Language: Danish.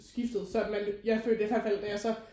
Skiftede så at man jeg følte i hvert fald da jeg så